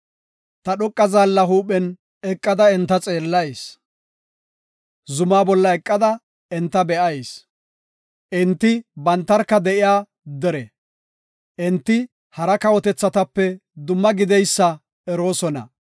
Ta dhoqa zaalla huuphen eqada enta xeellayis; zumaa bolla eqada enta be7ayis. Enti bantarka de7iya dere; enti hara kawotethatape dumma gideysa eroosona.